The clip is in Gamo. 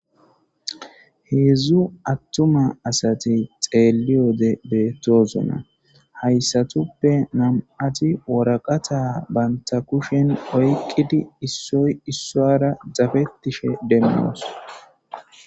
Heedzdzu attuma asati xeelliyode beettoosona hayssatuppe nam,ati woraqata banta kushen oyqidi issoy issora zafettishe demmoos.